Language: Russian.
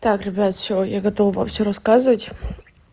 так ребята всё я готова всё рассказывать